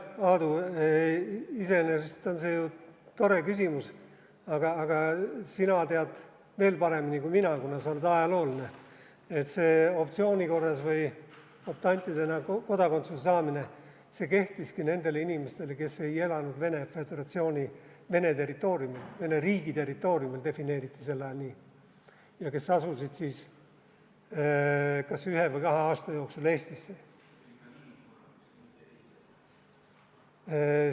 Jah, Aadu, iseenesest on see ju tore küsimus, aga sina tead veel paremini kui mina, kuna sa oled ajaloolane, et see optsiooni korras või optantidena kodakondsuse saamine kehtiski nendele inimestele, kes ei elanud Venemaa Föderatsiooni, Vene riigi territooriumil – defineeriti sel ajal nii –, ja kes asusid siis kas ühe või kahe aasta jooksul Eestisse.